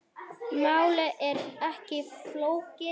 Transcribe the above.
Málið er ekki flókið.